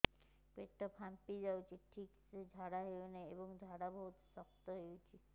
ପେଟ ଫାମ୍ପି ଯାଉଛି ଠିକ ସେ ଝାଡା ହେଉନାହିଁ ଏବଂ ଝାଡା ବହୁତ ଶକ୍ତ ହେଉଛି